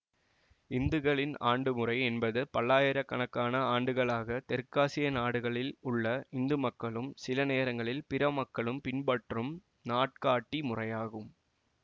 இந்துக்களின் ஆண்டுமுறை என்பது பல்லாயிர கணக்கான ஆண்டுகளாக தெற்காசிய நாடுகளில் உள்ள இந்து மக்களும் சில நேரங்களில் பிற மக்களும் பின்பற்றும் நாட்காட்டி முறையாகும்